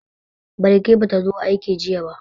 Balki ba ta zo aiki jiya ba.